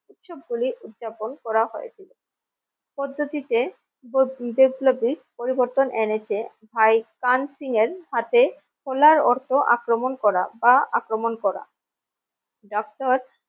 উৎসব হোলির উদযাপন করা হয়েছিল পদ্ধতিতে বৈপ্লবিক পরিবর্তন এনেছে ভাই তান সিং এর হাতে হোলা অর্থ আক্রমণ করা বা আক্রমণ করা । doctor